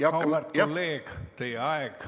Auväärt kolleeg, teie aeg on ammendatud.